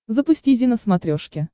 запусти зи на смотрешке